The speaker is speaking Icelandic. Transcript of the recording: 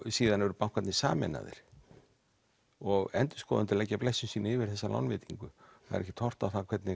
síðan eru bankarnir sameinaðir og endurskoðendur leggja blessun sína yfir þessa lánveitingu það er ekkert horft á það hvernig